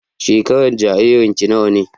Shekaran jaririn ki nawa ne?